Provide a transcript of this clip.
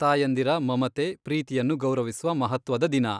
ತಾಯಂದಿರ ಮಮತೆ, ಪ್ರೀತಿಯನ್ನು ಗೌರವಿಸುವ ಮಹತ್ವದ ದಿನ.